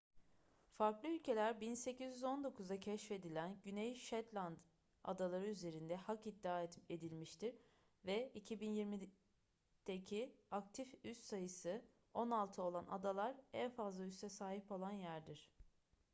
farklı ülkeler 1819'da keşfedilen güney shetland adaları üzerinde hak iddia edilmiştir ve 2020'deki aktif üs sayısı on altı olan adalar en fazla üsse sahip olan yerdir